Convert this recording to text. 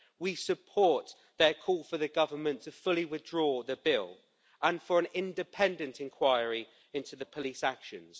We support their call for the Government to fully withdraw the bill and for an independent inquiry into the police's actions.